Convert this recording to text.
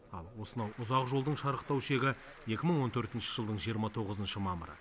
ал осынау ұзақ жолдың шарықтау шегі екі мың он төртінші жылдың жиырма тоғызыншы мамыры